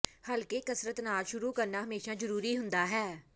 ਹਲਕੇ ਕਸਰਤ ਨਾਲ ਸ਼ੁਰੂ ਕਰਨਾ ਹਮੇਸ਼ਾਂ ਜ਼ਰੂਰੀ ਹੁੰਦਾ ਹੈ